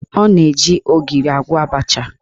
Ọ na-eji ogiri agwọ abacha